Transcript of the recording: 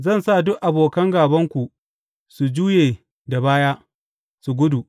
Zan sa duk abokan gābanku su juye da baya, su gudu.